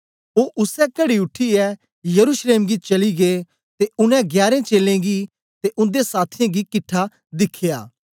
ओ उसै कड़ी उठीयै यरूशलेम गी चली गै ते उनै गयारें चेलें गी ते उन्दे साथियें गी किट्ठा दिखया